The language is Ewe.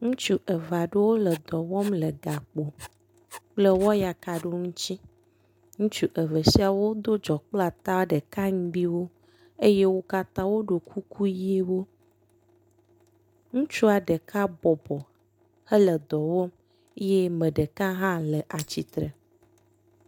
Ŋutsu eve aɖewo le dɔ wɔm le gakpo kple wɔyaka aɖewo ŋutsi. Ŋutsu eve siawo do dzɔkple ata ɖeka ŋgbiwo eye wo katã woɖo kuku ʋiwo. Ŋutsua ɖeka bɔbɔ hele dɔ wɔm eye me ɖeka hã le atsitre.